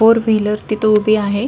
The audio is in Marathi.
फोर व्हीलर तिथ उभी आहे.